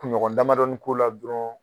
Kuɲɔgɔn damadɔni k'o la dɔrɔn